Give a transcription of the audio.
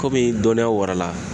Kɔmi dɔnniya warala.